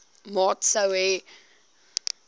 maat sou hê